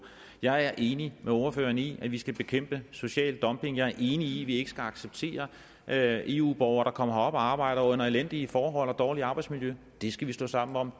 jeg er enig med ordføreren i at vi skal bekæmpe social dumping jeg er enig i at vi ikke skal acceptere at eu borgere kommer herop og arbejder under elendige forhold og dårligt arbejdsmiljø det skal vi stå sammen om